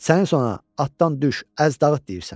Sənin sonra atdan düş, əz dağıt deyirsən.